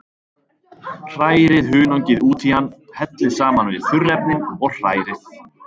Hrærið hunangið út í hann, hellið saman við þurrefnin og hrærið.